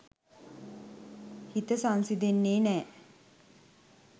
හිත සංසිඳෙන්නෙ නෑ.